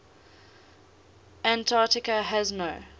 antarctica has no